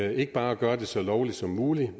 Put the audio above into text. og ikke bare at gøre det så lovligt som muligt